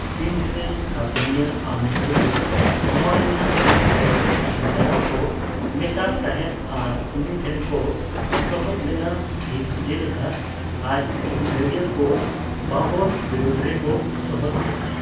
ᱥᱤᱱᱫᱷ ᱨᱮᱱ ᱥᱟᱥᱚᱱᱤᱭᱟᱹ ᱟᱢᱤᱨ ᱦᱩᱥᱮᱱ ᱦᱩᱢᱟᱭᱩᱱ ᱟᱜ ᱥᱮᱴᱮᱨ ᱥᱟᱜᱩᱱ ᱫᱟᱨᱟᱢ ᱠᱚ ᱢᱮᱛᱟᱜ ᱛᱟᱸᱦᱮᱫ ᱟᱨ ᱩᱱᱤ ᱴᱷᱮᱱ ᱠᱚ ᱥᱚᱦᱚᱫ ᱞᱮᱱᱟ ᱴᱷᱤᱠ ᱡᱮᱞᱮᱠᱟ ᱟᱡ ᱦᱩᱞᱜᱟᱹᱨᱤᱭᱟᱹᱠᱚ ᱵᱟᱵᱚᱨ ᱵᱤᱨᱩᱫᱷ ᱨᱮᱠᱚ ᱥᱚᱦᱚᱫ ᱞᱮᱱᱟ ᱾